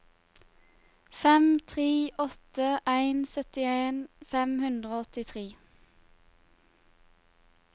fem tre åtte en syttien fem hundre og åttitre